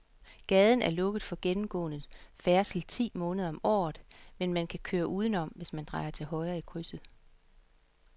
Gaden er lukket for gennemgående færdsel ti måneder om året, men man kan køre udenom, hvis man drejer til højre i krydset.